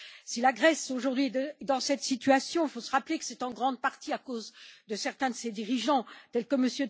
Si la Grèce est aujourd'hui dans cette situation, il faut se rappeler que c'est en grande partie à cause de certains de ses dirigeants, tels que M.